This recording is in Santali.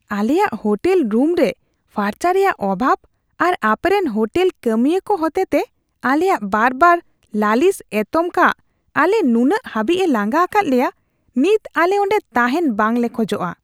ᱟᱞᱮᱭᱟᱜ ᱦᱳᱴᱮᱞ ᱨᱩᱢᱨᱮ ᱯᱷᱟᱨᱪᱟ ᱨᱮᱭᱟᱜ ᱚᱵᱷᱟᱵ ᱟᱨ ᱟᱯᱮᱨᱮᱱ ᱦᱳᱴᱮᱞ ᱠᱟᱹᱢᱤᱭᱟᱹ ᱠᱚ ᱦᱚᱛᱮᱛᱮ ᱟᱞᱮᱭᱟᱜ ᱵᱟᱨᱵᱟᱨ ᱞᱟᱹᱞᱤᱥ ᱮᱛᱚᱢ ᱠᱟᱜ ᱟᱞᱮ ᱱᱩᱱᱟᱹᱜ ᱦᱟᱹᱵᱤᱡᱼᱮ ᱞᱟᱸᱜᱟ ᱟᱠᱟᱫ ᱞᱮᱭᱟ ᱱᱤᱛ ᱟᱞᱮ ᱚᱸᱰᱮ ᱛᱟᱦᱮᱱ ᱵᱟᱝᱞᱮ ᱠᱷᱚᱡᱚᱜᱼᱟ ᱾